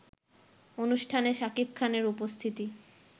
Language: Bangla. অনুষ্ঠানে শাকিব খানের উপস্থিত